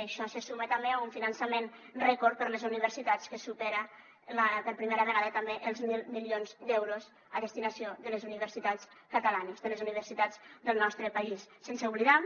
a això se suma també un finançament rècord per a les universitats que supera per primera vegada també els mil milions d’euros a destinació de les universitats catalanes de les universitats del nostre país sense oblidar